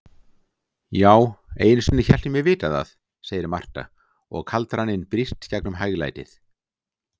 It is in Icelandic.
Já, einusinni hélt ég mig vita það, segir Marta og kaldraninn brýst gegnum hæglætið.